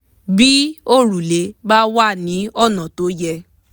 bí òrùlé bá wà ní ọ̀nà tó yẹ